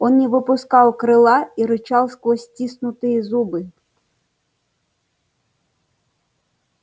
он не выпускал крыла и рычал сквозь стиснутые зубы